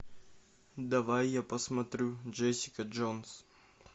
давай я посмотрю джессика джонс